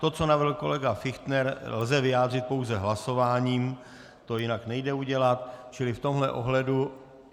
To, co navrhl kolega Fichtner, lze vyjádřit pouze hlasováním, to jinak nejde udělat, čili v tomhle ohledu...